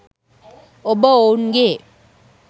ඔබ ඔවුන් ගේ